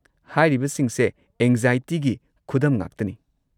ꯍꯥꯏꯔꯤꯕꯁꯤꯡꯁꯦ ꯑꯦꯡꯖꯥꯏꯇꯤꯒꯤ ꯈꯨꯗꯝ ꯉꯥꯛꯇꯅꯤ꯫